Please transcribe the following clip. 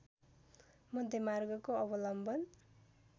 मध्यममार्गको अवलम्बन